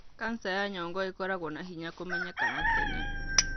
kanca ya nyongo ĩkoragũo na hinya kũmenyekana tene.